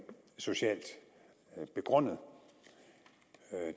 socialt begrundet